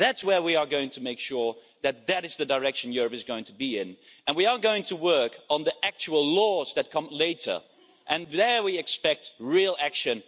That's where we are going to make sure that is the direction Europe is going in. And we are going to work on the actual laws that come later, and there we expect real action.